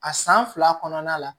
A san fila kɔnɔna la